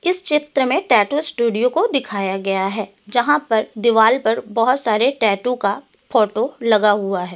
इस चित्र में टैटू स्टूडियो को दिखाया गया है यहां पर दीवाल पर बहुत सारे टैटू का फोटो लगा हुआ है कुछ।